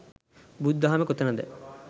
බුදු දහමේ කොතනද